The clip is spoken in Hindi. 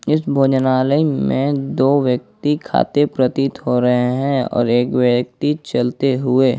इस भोजनालय में दो व्यक्ति खाते प्रतीत हो रहे हैं और एक व्यक्ति चलते हुए।